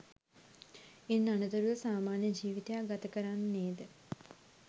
ඉන් අනතුරුව සාමාන්‍ය ජීවිතයක් ගත කරන්නේද?